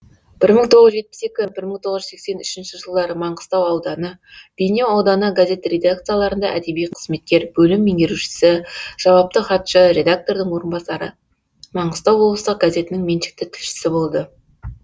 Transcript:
бір мың тоғыз жүз жетпіс екінші бір мың тоғыз жүз сексен үшінші жылдары маңғыстау ауданы бейнеу ауданы газет редакцияларында әдеби қызметкер бөлім меңгерушісі жауапты хатшы редактордың орынбасары маңғыстау облыстық газетінің меншікті тілшісі болды